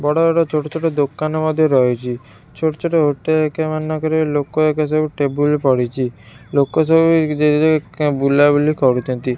ବଡ଼ ବଡ଼ ଛୋଟ ଛୋଟ ଦୋକନ ମଧ୍ୟ ରହିଚି ଛୋଟ ଛୋଟ ହୋଟେ ଏକା ମାନଙ୍କରେ ଲୋକ ହେକ ମାନେ ସବୁ ଟେବୁଲ ପଡିଚି ଲୋକ ସବୁ ଜେ ଜେ ଙ୍କେ ବୁଲା ବୁଲି କରୁଛନ୍ତି।